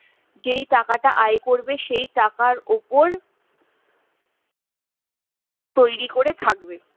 যে টাকাটা আয় করবে সেই টাকার উপর তৈরি করে থাকবে